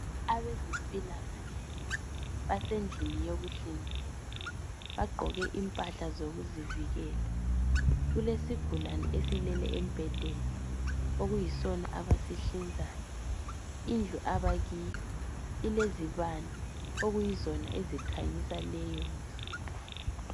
Abezempilakahle basendlini yokuhlinzela bagqoke impahla zokuzivikela kulesigulane esilele embhedeni okuyisona abasihlinzayo indlu abakiyo ilezibane okuyizona ezikhanyisa leyondlu.